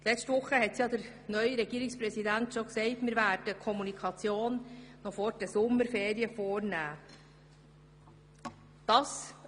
Letzte Woche hat der neue Regierungspräsident bereits angekündigt, dass wir noch vor den Sommerferien über dieses Thema kommunizieren werden.